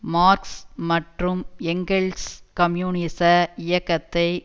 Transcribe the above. marks மற்றும் Engels கம்யூனிச இயக்கத்தை